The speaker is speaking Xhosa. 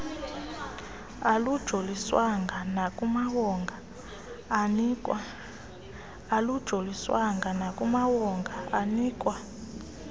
alujoliswanga nakumawonga anikwa